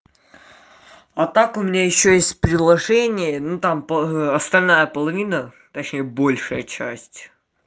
а так у меня ещё есть предложение ну там по остальная половина точнее большая часть